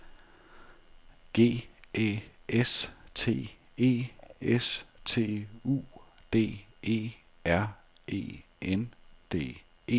G Æ S T E S T U D E R E N D E